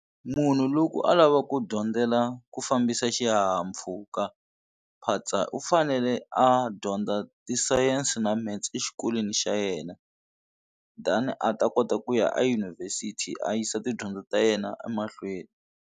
Munhu loko a lava ku dyondzela ku fambisa xihahampfhuka phatsa u fanele a dyondza tisayense na metse exikolweni xa yena then a ta kota ku ya eyunivhesiti a yisa tidyondzo ta yena emahlweni.